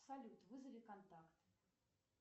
салют вызови контакт